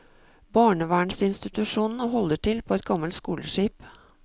Barnevernsinstitusjonen holder til på et gammelt skoleskip.